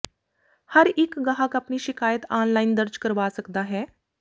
ਹਰ ਇੱਕ ਗਾਹਕ ਆਪਣੀ ਸ਼ਿਕਾਇਤ ਆਨਲਾਈਨ ਦਰਜ ਕਰਵਾ ਸਕਦਾ ਹੈ